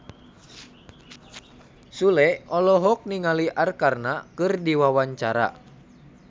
Sule olohok ningali Arkarna keur diwawancara